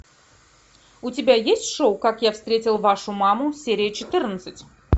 у тебя есть шоу как я встретил вашу маму серия четырнадцать